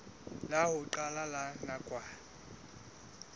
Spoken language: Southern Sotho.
la ho qala la nakwana